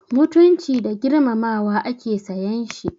Mutunci da girmamawa ake sayan shi.